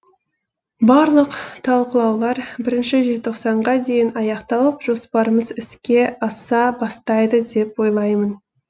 барлық талқылаулар бірінші желтоқсанға дейін аяқталып жоспарымыз іске аса бастайды деп ойлаймын